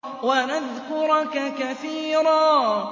وَنَذْكُرَكَ كَثِيرًا